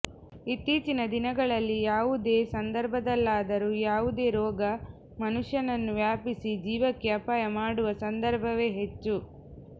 ಇತ್ತೀಚಿನ ದಿನಗಳಲ್ಲಿ ಯಾವುದೇ ಸಂದರ್ಭದಲ್ಲಾದರೂ ಯಾವುದೇ ರೋಗ ಮನುಷ್ಯನನ್ನು ವ್ಯಾಪಿಸಿ ಜೀವಕ್ಕೆ ಅಪಾಯ ಮಾಡುವ ಸಂದರ್ಭವೇ ಹೆಚ್ಚು